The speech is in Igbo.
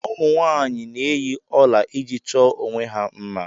Ụmụ nwanyị na-eyi ọla iji chọọ onwe ha mma.